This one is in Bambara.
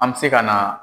An bɛ se ka na